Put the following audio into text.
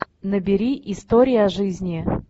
набери история жизни